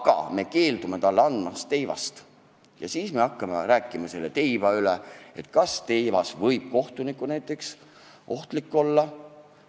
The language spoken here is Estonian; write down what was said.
Samas me keeldume talle andmast teivast ja hakkame arutama, kas teivas võib ehk kohtunikule ohtlik olla.